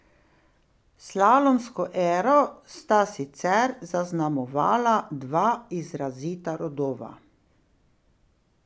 Slalomsko ero sta sicer zaznamovala dva izrazita rodova.